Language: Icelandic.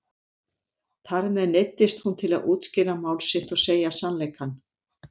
Þar með neyddist hún til að útskýra mál sitt og segja sannleikann.